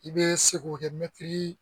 I bɛ se k'o kɛ